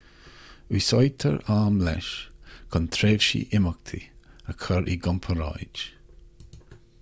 úsáidtear am leis chun tréimhsí imeachtaí a chur i gcomparáid